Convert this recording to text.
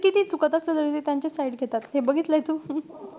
कितीही चुकत असले तरी, त्यांचीच side घेतात. हे बघितलंय तू?